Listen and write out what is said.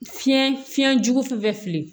Fiɲɛ fiɲɛjugu fɛn fɛn fili